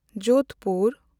Jodhpur